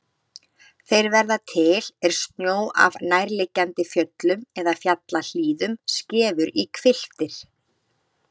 Þeir verða til er snjó af nærliggjandi fjöllum eða fjallahlíðum skefur í hvilftir.